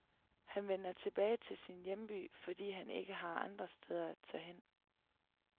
Han vender tilbage til sin hjemby, fordi han ikke har andre steder at tage hen.